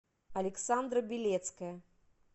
александра белецкая